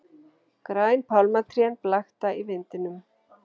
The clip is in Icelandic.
Græn pálmatrén blakta í vindinum.